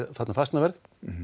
þarna fasteignaverð